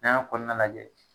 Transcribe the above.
N'an y'a kɔnɔna lajɛ